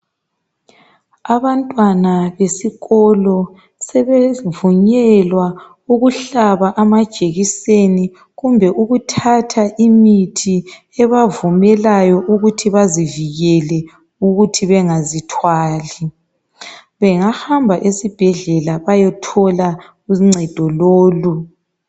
Abantwana besikolo sebevunyelwa ukuhlaba amajekiseni kumbe ukuthatha imithi ebavumelayo ukuthi bazivikele ukuthi bengazithwali. Bengahamba esibhedlela bayothola uncedo lolu.